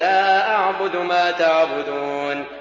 لَا أَعْبُدُ مَا تَعْبُدُونَ